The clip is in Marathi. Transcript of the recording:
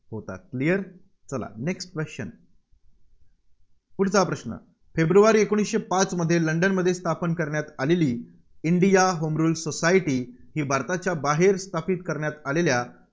होता. clear चला next question पुढचा प्रश्न फेब्रुवारी एकोणीसशे पाचमध्ये लंडनमध्ये स्थापन करण्यात आलेली इंडिया होम रूल सोसायटी ही भारताच्या बाहेर स्थापित करण्यात आलेल्या